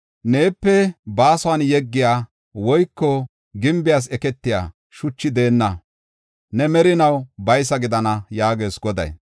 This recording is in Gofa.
Neepe baason yeggiya woyko gimbees eketiya shuchi deenna; ne merinaw baysa gidana” yaagees Goday.